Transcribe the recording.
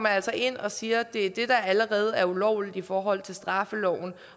altså ind og siger at det er det der allerede er ulovligt i forhold til straffeloven